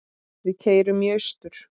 Við keyrum í austur